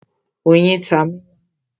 Oyin ta mi lánàá.